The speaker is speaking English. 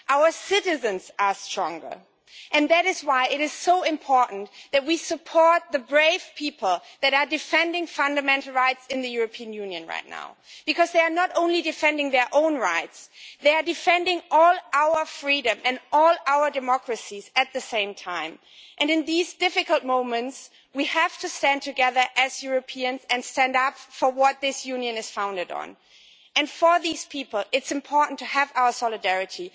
Our citizens are stronger, and that is why it is so important that we support the brave people who are defending fundamental rights in the European Union right now, because they are not only defending their own rights, they are defending all our freedom and all our democracies at the same time, and in these difficult moments, we have to stand together as Europeans and stand up for what this Union is founded on. For these people, it is important to have our solidarity.